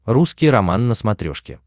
русский роман на смотрешке